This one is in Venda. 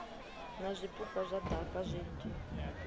na zwipuka zwa daka zwinzhi